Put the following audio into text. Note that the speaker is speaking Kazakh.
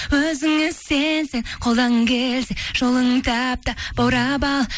өзіңе сенсең қолдан келсе жолын тап та баурап ал